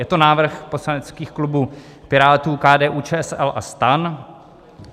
Je to návrh poslaneckých klubů Pirátů, KDU-ČSL a STAN.